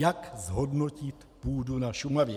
Jak zhodnotit půdu na Šumavě?